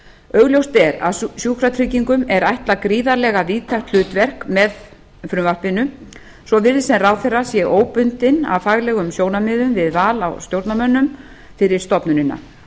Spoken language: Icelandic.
augljóst er að sjúkratryggingum er ætlað gríðarlega víðtækt hlutverk með frumvarpinu svo virðist sem ráðherra sé óbundinn af faglegum sjónarmiðum við val á stjórnarmönnum fyrir stofnunina